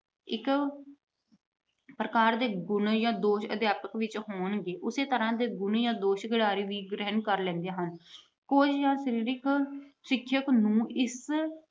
ਇੱਕ ਪ੍ਰਕਾਰ ਦੇ ਗੁਣ ਜਾਂ ਦੋਸ਼ ਅਧਿਆਪਕ ਵਿੱਚ ਹੋਣਗੇ, ਉਸ ਤਰ੍ਹਾਂ ਦੇ ਗੁਣ ਜਾਂ ਦੋਸ਼ ਖਿਡਾਰੀ ਵੀ ਗ੍ਰਹਿਣ ਕਰ ਲੈਂਦੇ ਹਨ। ਕੋਈ ਸਰੀਰਕ ਸਿੱਖਿਆ ਨੂੂੰ ਇਸ